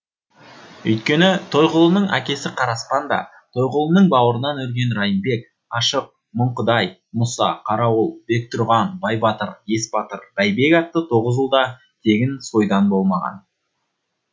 өйткені тойғұлының әкесі қараспан да тойғұлының бауырынан өрген райымбек ашық мұңдықай мұса қарауыл бектұрған байбатыр есбатыр бәйбек атты тоғыз ұл да тегін сойдан болмаған